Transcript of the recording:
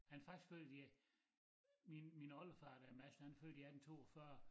Han er faktisk født i øh min min oldefar dér Mads han er født i 1842